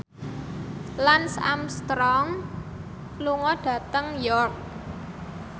Lance Armstrong lunga dhateng York